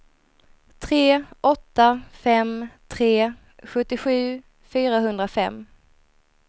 tre åtta fem tre sjuttiosju fyrahundrafem